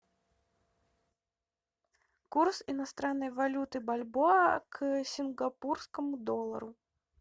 курс иностранной валюты бальбоа к сингапурскому доллару